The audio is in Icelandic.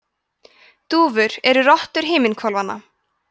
dúfur eru rottur himinhvolfanna